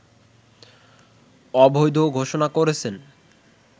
অবৈধ ঘোষণা করেছেন